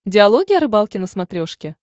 диалоги о рыбалке на смотрешке